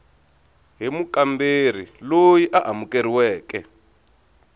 hi mukamberi loyi a amukeriweke